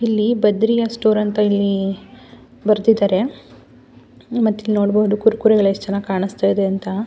ಇಲ್ಲಿ ಬದ್ರಿಯಾ ಸ್ಟೋರ್ ಅಂತ ಇಲ್ಲಿ ಬರ್ದಿದ್ದಾರೆ ಮತ್ತೆ ಇಲ್ಲಿ ನೋಡಬಹುದು ಕುರ್ಕುರೆ ಎಲ್ಲ ಎಷ್ಟು ಚೆನ್ನಾಗಿ ಕಾಣಿಸ್ತಾ ಇದೆ ಅಂತ.